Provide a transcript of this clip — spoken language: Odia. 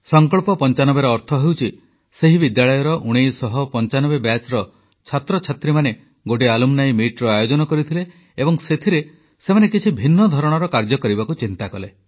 ସଂକଳ୍ପ95ର ଅର୍ଥ ହେଉଛି ସେହି ବିଦ୍ୟାଳୟର 1995 ବ୍ୟାଚର ଛାତ୍ରଛାତ୍ରୀ ଆଲୁମ୍ନି ମିଟ ଆୟୋଜନ କରିଥିଲେ ଏବଂ ସେଥିରେ ସେମାନେ କିଛି ଭିନ୍ନ ଧରଣର କାର୍ଯ୍ୟ କରିବାକୁ ଚିନ୍ତା କଲେ